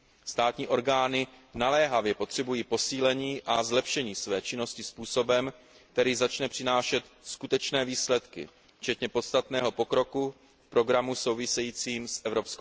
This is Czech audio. Státní orgány naléhavě potřebují posílení a zlepšení své činnosti způsobem, který začne přinášet skutečné výsledky včetně podstatného pokroku v programu souvisejícím s EU.